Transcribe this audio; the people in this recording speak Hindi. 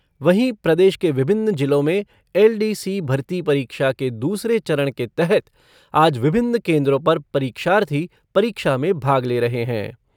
वहीं प्रदेश के विभिन्न जिलों में एलडीसी भर्ती परीक्षा के दूसरे चरण के तहत आज विभिन्न केन्द्रों पर परीक्षार्थी परीक्षा में भाग ले रहे है।